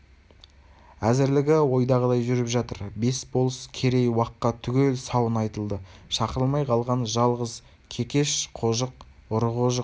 әзірлігі ойдағыдай жүріп жатыр бес болыс керей уаққа түгел сауын айтылды шақырылмай қалған жалғыз кекеш қожық ұры қожық